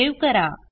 save करा